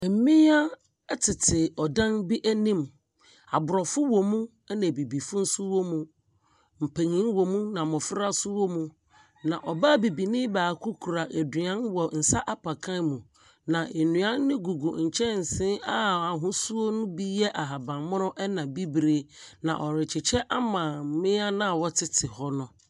Mmea ɛtete ɔdan bi anim, aborɔfo wɔ mu, ɛna abibifo nso wɔ mu, mpanin wom na mmofra nso wɔ mu. Na bibini baako kura aduan wɔ nsa apakan mu, na nnuan gugu kyɛnse a ahosuo no bi ɛyɛ ahabanmono ɛna bibire na ɔrekyekyɛ ama mmea no a wɔtete hɔ no.